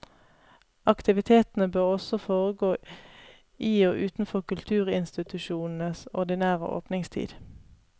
Aktivitetene bør også foregå i og utenfor kulturinstitusjonenes ordinære åpningstid.